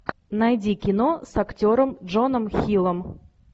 найди кино с актером джоном хиллом